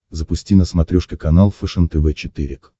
запусти на смотрешке канал фэшен тв четыре к